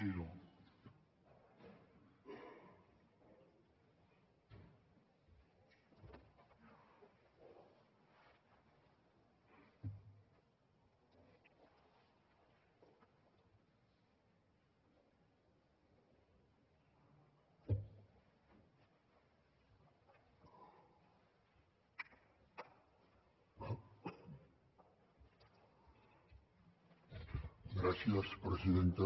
gràcies presidenta